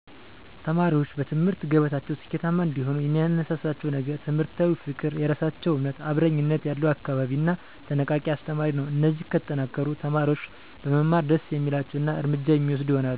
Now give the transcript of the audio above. ተማሪዎች በትምህርት ገበታቸው ስኬታማ እንዲሆኑ የሚያነሳሳቸው ነገር ትምህርታዊ ፍቅር፣ የራሳቸውን እምነት፣ አብረኝነት ያለው አካባቢ እና ተነቃቂ አስተማሪ ነው። እነዚህ ከተጠናከሩ፣ ተማሪዎች በመማር ደስ የሚላቸው እና እርምጃ የሚወስዱ ይሆናሉ።